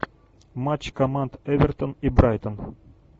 матч команд эвертон и брайтон